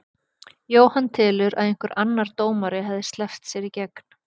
Jóhann telur að einhver annar dómari hefði sleppt sér í gær.